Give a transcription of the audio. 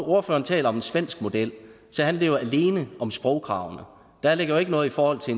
ordføreren taler om en svensk model så handler det jo alene om sprogkravene der ligger jo ikke noget i forhold til